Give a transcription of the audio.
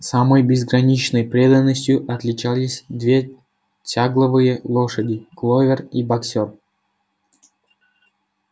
самой безграничной преданностью отличались две тягловые лошади кловер и боксёр